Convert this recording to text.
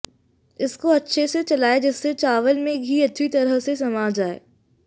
इसको अच्छे से चलाएं जिससे चावल में घी अच्छी तरह से समा जाए